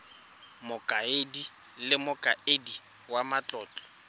mokaedi le mokaedi wa matlotlo